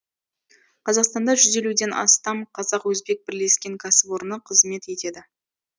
қазақстанда жүз елуден астам қазақ өзбек бірлескен кәсіпорны қызмет етеді